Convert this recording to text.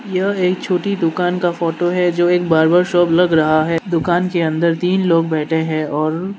यह एक छोटी दुकान का फोटो है जो एक बार्बर शॉप लग रहा है दुकान के अंदर तीन लोग बैठे हैं और --